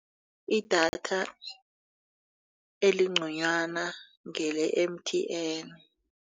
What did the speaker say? Idatha elingconywana ngele-M_T_N.